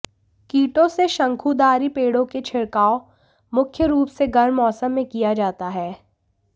कीटों से शंकुधारी पेड़ों की छिड़काव मुख्य रूप से गर्म मौसम में किया जाता है